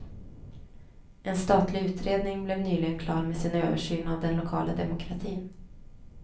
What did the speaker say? En statlig utredning blev nyligen klar med sin översyn av den lokala demokratin.